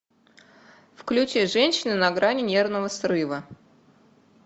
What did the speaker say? включи женщина на грани нервного срыва